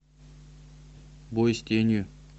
бой с тенью